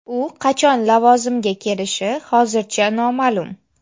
U qachon lavozimga kelishi hozircha noma’lum.